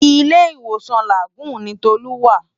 Ilé Iwósàn Lágùn ni Tolu wá